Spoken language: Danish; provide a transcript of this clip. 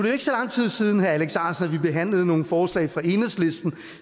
jo ikke så lang tid siden herre alex ahrendtsen at vi behandlede nogle forslag fra enhedslisten